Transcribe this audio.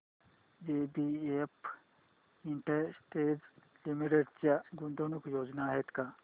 JBF industries limited च्या गुंतवणूक योजना आहेत का